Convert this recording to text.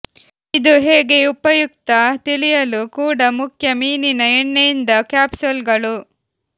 ಇದು ಹೇಗೆ ಉಪಯುಕ್ತ ತಿಳಿಯಲು ಕೂಡ ಮುಖ್ಯ ಮೀನಿನ ಎಣ್ಣೆಯಿಂದ ಕ್ಯಾಪ್ಸೂಲ್ಗಳು